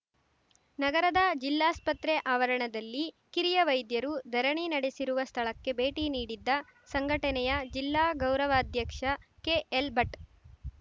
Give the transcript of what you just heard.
ನಗರದ ಜಿಲ್ಲಾಸ್ಪತ್ರೆ ಆವರಣದಲ್ಲಿ ಕಿರಿಯ ವೈದ್ಯರು ಧರಣಿ ನಡೆಸಿರುವ ಸ್ಥಳಕ್ಕೆ ಭೇಟಿ ನೀಡಿದ್ದ ಸಂಘಟನೆಯ ಜಿಲ್ಲಾ ಗೌರವಾಧ್ಯಕ್ಷ ಕೆಎಲ್‌ಭಟ್‌